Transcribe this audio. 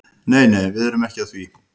Nei nei, við erum ekki að því.